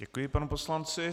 Děkuj panu poslanci.